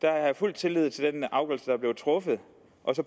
jeg fuld tillid til den afgørelse der er blevet truffet